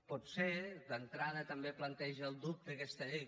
potser d’entrada també planteja el dubte aquesta llei